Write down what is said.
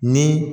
Ni